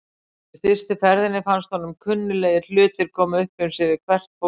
Í fyrstu ferðinni fannst honum kunnuglegir hlutir koma upp um sig við hvert fótmál.